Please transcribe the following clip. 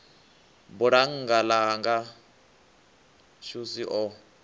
bulannga ḽa hanga xvusi o